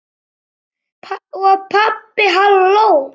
Og pabbi hló.